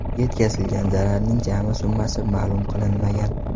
Yetkazilgan zararning jami summasi ma’lum qilinmagan.